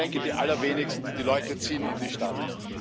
Wohl die allerwenigsten, die Leute ziehen in die Stadt.